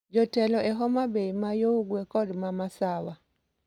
Jotelo e Homabay ma yo ugwe kod ma masawa